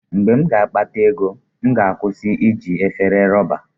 Mgbe m ga-akpata ego, m ga-akwụsị iji efere rọba.